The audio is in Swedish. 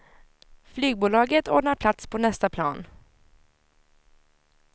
Flygbolaget ordnar plats på nästa plan.